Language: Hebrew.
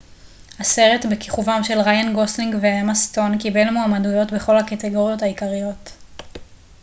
הסרט בכיכובם של ריאן גוסלינג ואמה סטון קיבל מועמדויות בכל הקטגוריות העיקריות